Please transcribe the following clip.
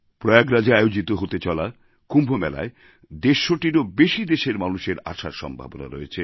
প্রয়াগরাজএ আয়োজিত হতে চলা কুম্ভ মেলায় দেড়শটিরও বেশি দেশের মানুষের আসার সম্ভাবনা রয়েছে